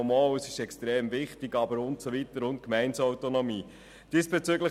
Doch, doch, es ist extrem wichtig, aber die Gemeindeautonomie und so weiter.